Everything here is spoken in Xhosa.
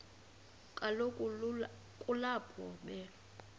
kaloku kulapho be